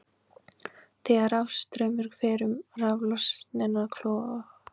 Þegar rafstraumur fer um raflausnina klofnar súrálið í frumefni sín, ál og súrefni.